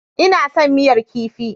Ina son miyar kifi.